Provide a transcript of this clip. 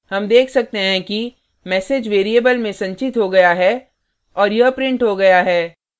हम देख सकते हैं कि message variable में संचित हो गया है और यह printed हो गया है